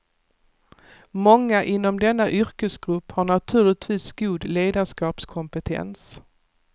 Många inom denna yrkesgrupp har naturligtvis god ledarskapskompetens.